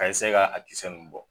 A kaa a ninnu bɔ